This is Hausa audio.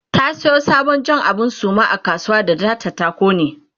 ta Sayo sabon abun Jan Suma a kasuwa ta da ta kone